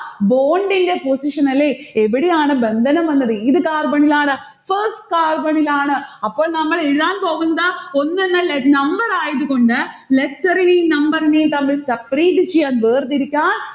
bond ന്റെ position അല്ലെ? എവിടെയാണ് ബന്ധനം വന്നത് ഏത് carbon ലാണ്? first carbon ഇലാണ്. അപ്പോൾ നമ്മൾ എഴുതാൻ പോകുന്നത് ഒന്ന് എന്ന ലെ number ആയതു കൊണ്ട് letter ഏം number നെയും separate ചെയ്യാൻ വേർതിരിക്കാൻ